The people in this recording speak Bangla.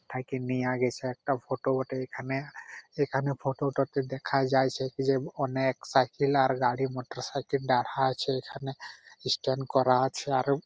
থাকে নিয়ে গেছে একটা ফটো বটে এখানে | এখানে ফটো -টাতে দেখা যাচ্ছে কি যে অনেক সাইকেল আর গাড়ি মটর সাইকেল দাহরা আছে এখানে | স্ট্যান্ড করা আছে আর --